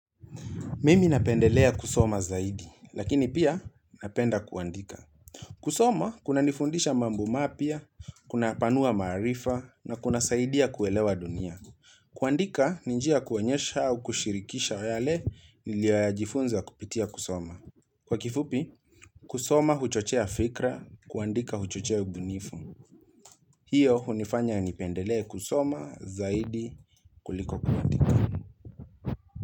Mimi napendelea kusoma zaidi, lakini pia napenda kuandika. Kusoma, kuna nifundisha mambo mapya, kuna panua maarifa, na kunasaidia kuelewa dunia. Kuandika, ni njia ya kuonyesha au kushirikisha yale niliyo jifunza kupitia kusoma. Kwa kifupi, kusoma huchochea fikra, kuandika huchochea ubunifu. Hiyo, hunifanya nipendelee kusoma zaidi kuliko kuandika.